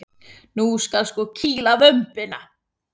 Nú skal sko kýla vömbina!